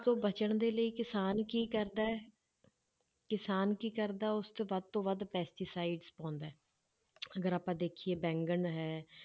ਤੋਂ ਬਚਣ ਦੇ ਲਈ ਕਿਸਾਨ ਕੀ ਕਰਦਾ ਹੈ ਕਿਸਾਨ ਕੀ ਕਰਦਾ, ਉਸ ਤੇ ਵੱਧ ਤੋਂ ਵੱਧ pesticides ਪਾਉਂਦਾ ਹੈ ਅਗਰ ਆਪਾਂ ਦੇਖੀਏ ਬੈਂਗਣ ਹੈ,